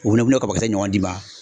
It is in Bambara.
U bɛna o kabakisɛ ɲɔgɔn d'i ma.